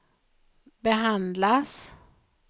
behandlas